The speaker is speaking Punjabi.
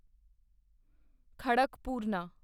ਖੜਕਪੂਰਨਾ